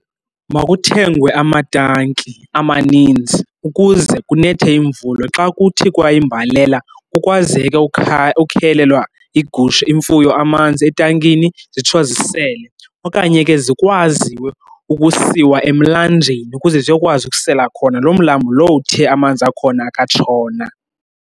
Makuthengwe amatanki amaninzi ukuze kunethe imvula. Xa kuthi kwayimbalela kukwazeke ukhelelwa igusha, imfuyo amanzi etankini zitsho zisele. Okanye ke zikwazi ukusiwa emlanjeni ukuze ziyokwazi ukusela khona, loo mlambo lowo uthe amanzi akhona akatshona.